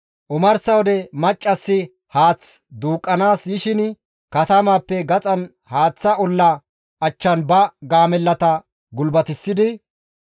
Omarsa wode maccassi haath duuqqanaas yishin katamaappe gaxan haaththa olla achchan ba gaamellata gulbatissidi,